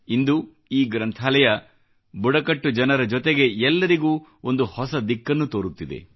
ಇಂದು ಈ ಗ್ರಂಥಾಲಯ ಬುಡಕಟ್ಟು ಜನರ ಜೊತೆಗೆ ಎಲ್ಲರಿಗೂ ಒಂದು ಹೊಸ ದಿಕ್ಕನ್ನು ತೋರುತ್ತಿದೆ